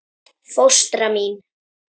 Fóstra mín